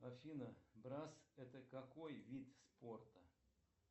афина брасс это какой вид спорта